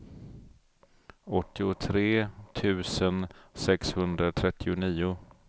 åttiotre tusen sexhundratrettionio